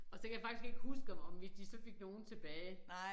Og så kan jeg faktisk ikke huske om om vi de så fik nogle tilbage